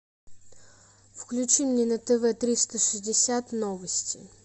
включи мне на тв триста шестьдесят новости